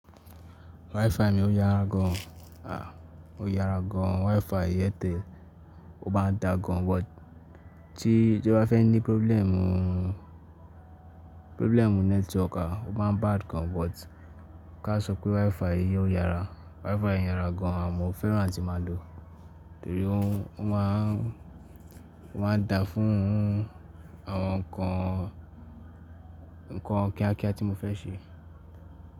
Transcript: WiFi mi ó yára gan, ó yára gan. WiFi Airtel ó má n da gan but tí, tí ó bá fẹ́ ní problem, problem network, ó bá bad gan. But káṣọ pé WiFi yìí ó yára, WiFi yìí yára gan. Mo fẹ́ràn atí màá lò ó, torí ó máa n dá fún àwọn nǹkan, nǹkan kíákíá tí mo fẹ́ ṣe.